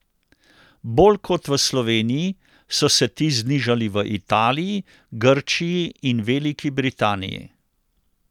Bolj kot v Sloveniji so se ti znižali v Italiji, Grčiji in Veliki Britaniji.